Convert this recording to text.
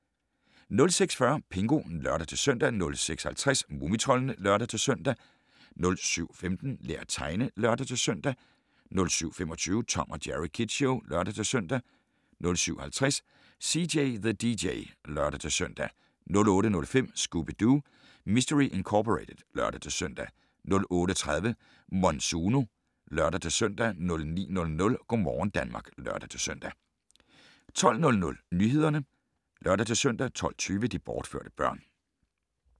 06:40: Pingu (lør-søn) 06:50: Mumitroldene (lør-søn) 07:15: Lær at tegne (lør-søn) 07:25: Tom & Jerry Kids Show (lør-søn) 07:50: CJ the DJ (lør-søn) 08:05: Scooby-Doo! Mistery Incorporated (lør-søn) 08:30: Monsuno (lør-søn) 09:00: Go' morgen Danmark (lør-søn) 12:00: Nyhederne (lør-søn) 12:20: De bortførte børn